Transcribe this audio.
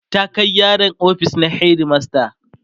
ta Kai yaron ofis na headmaster